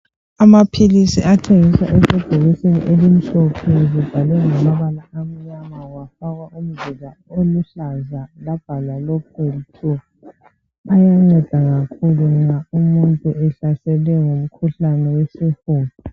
amaphilisi athengiswa esebhokisini elimhlophe elibhalwe ngamabala amnyama lafakwa umzila oluhlaza labhalwa LOPEWELL 2 ayanceda kakhulu nxa umuntu ehlaselwe ngumkhuhlane wesifuba